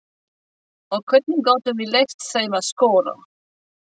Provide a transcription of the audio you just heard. Og hvernig gátum við leyft þeim að skora?